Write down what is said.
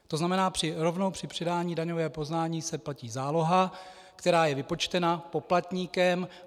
To znamená, rovnou při předání daňového přiznání se platí záloha, která je vypočtena poplatníkem.